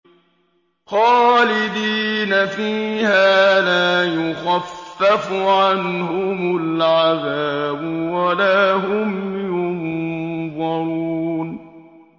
خَالِدِينَ فِيهَا لَا يُخَفَّفُ عَنْهُمُ الْعَذَابُ وَلَا هُمْ يُنظَرُونَ